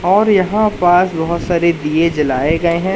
और यहां पास बहोत सारे दिये जलाए गए हैं।